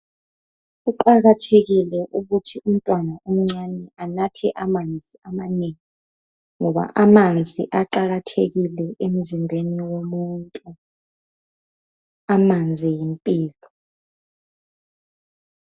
Kuqakathekile ukuthi umntwana omncane anathe amanzi amanengi ngoba amanzi aqakathekile emzimbeni womuntu. Amanzi yimpilo.